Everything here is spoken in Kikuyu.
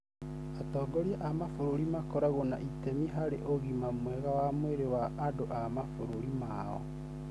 Atongoria a mabũrũri makoragwo na itemi harĩ ũgima mwega wa mwĩrĩ wa andũ a mabũrũri mao.